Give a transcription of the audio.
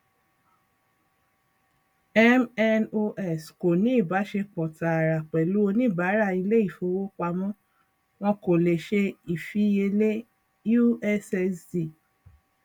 mnos kò ní ìbáṣepọ tààrà pẹlú oníbàárà ilé ìfowópamọ wọn kò le ṣe ìfiyelé ussd